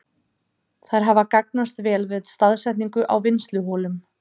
Þær hafa gagnast vel við staðsetningu á vinnsluholum.